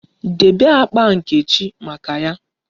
Debe akpa nkechi maka ya!